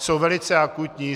Jsou velice akutní.